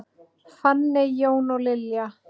Fanney, Jón og Lilja.